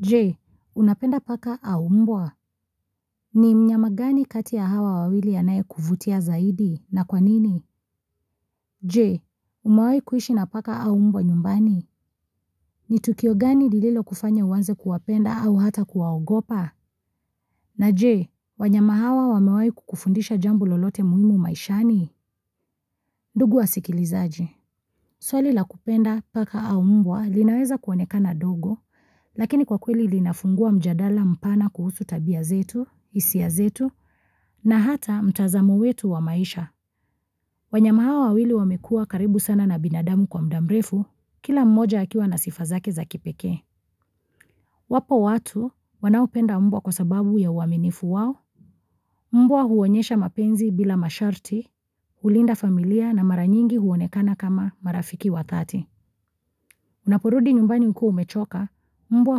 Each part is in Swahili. Je, unapenda paka au mbwa? Ni mnyama gani kati ya hawa wawili anayekuvutia zaidi na kwa nini? Jee, umewai kuishi na paka au mbwa nyumbani? Ni tukio gani lililokufanya uanze kuwapenda au hata kuwaogopa? Na Je, wanyama hawa wamewai kukufundisha jambo lolote muhimu maishani? Ndugu wasikilizaji. Swali la kupenda paka au mbwa linaweza kuonekana dogo, lakini kwa kweli linafungua mjadala mpana kuhusu tabia zetu, hisia zetu, na hata mtazamo wetu wa maisha. Wanyama hawa wawili wamekuwa karibu sana na binadamu kwa mda mrefu, kila mmoja akiwa na sifa zake za kipekee. Wapo watu wanaopenda mbwa kwa sababu ya uaminifu wao, mbwa huonyesha mapenzi bila masharti, hulinda familia na mara nyingi huonekana kama marafiki wa thati. Unaporudi nyumbani ukiwa umechoka, mbwa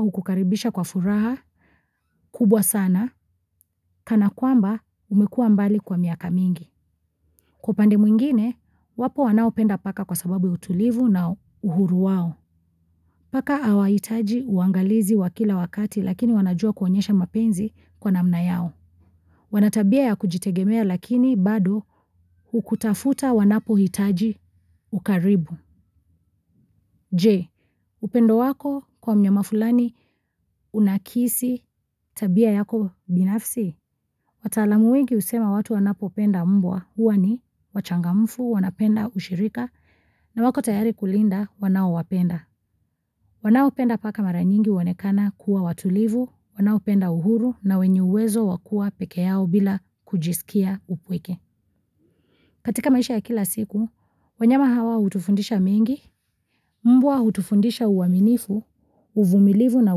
hukukaribisha kwa furaha kubwa sana, kana kwamba umekua mbali kwa miaka mingi. Kwa upande mwingine, wapo wanaopenda paka kwa sababu ya utulivu na uhuru wao. Paka awahitaji uangalizi wa kila wakati lakini wanajua kuonyesha mapenzi kwa namna yao. Wanatabia ya kujitegemea lakini bado hukutafuta wanapo hitaji ukaribu. Je, upendo wako kwa mnyama fulani unaakisi tabia yako binafsi? Wataalamu wengi husema watu wanapopenda mbwa huwa ni wachangamfu wanapenda ushirika na wako tayari kulinda wanaowapenda. Wanaopenda paka mara nyingi huonekana kuwa watulivu, wanaopenda uhuru na wenye uwezo wa kua peke yao bila kujisikia upweke. Katika maisha ya kila siku, wanyama hawa hutufundisha mengi, mbwa hutufundisha uaminifu, uvumilivu na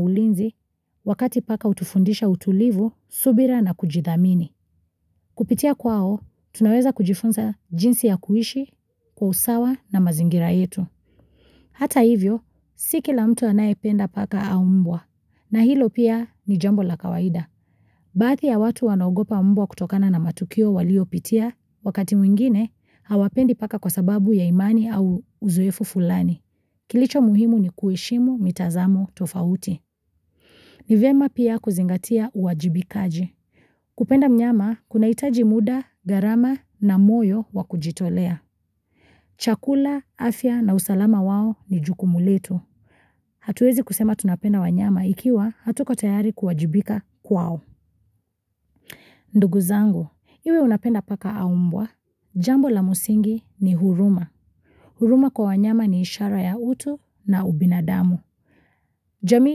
ulinzi wakati paka hutufundisha utulivu, subira na kujidhamini. Kupitia kwao, tunaweza kujifunza jinsi ya kuishi, kwa usawa na mazingira yetu. Hata hivyo, si kila mtu anayependa paka au mbwa, na hilo pia ni jambo la kawaida. Baadhi ya watu wanagopa mbwa kutokana na matukio waliopitia, wakati mwingine, hawapendi paka kwa sababu ya imani au uzoefu fulani. Kilicho muhimu ni kueshimu, mitazamo, tofauti. Ni vema pia kuzingatia uwajibikaji. Kupenda mnyama, kunaitaji muda, gharama na moyo wa kujitolea. Chakula, afya na usalama wao ni jukumu letu. Hatuezi kusema tunapenda wanyama ikiwa hatuko tayari kuwajibika kwao. Ndugu zangu, iwe unapenda paka au mbwa, jambo la msingi ni huruma. Huruma kwa wanyama ni ishara ya utu na ubinadamu. Jamii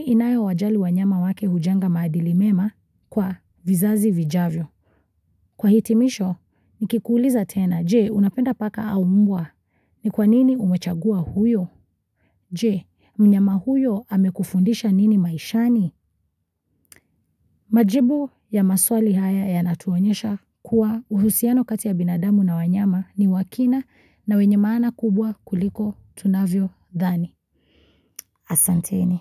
inayowajali wanyama wake hujenga maadili mema kwa vizazi vijavyo. Kwa hitimisho, nikikuuliza tena, je, unapenda paka au mbwa ni kwa nini umechagua huyo? Je, mnyama huyo amekufundisha nini maishani? Majibu ya maswali haya yanatuonyesha kuwa uhusiano kati ya binadamu na wanyama ni wa kina na wenye maana kubwa kuliko tunavyodhani. Asanteni.